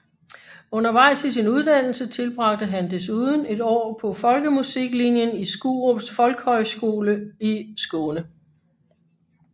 Undervejs i sin uddannelse tilbragte han desuden et år på folkemusiklinjen Skurups folkhögskola i Skåne